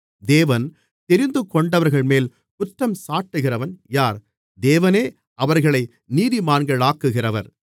தேவன் தெரிந்துகொண்டவர்கள்மேல் குற்றஞ்சாட்டுகிறவன் யார் தேவனே அவர்களை நீதிமான்களாக்குகிறவர்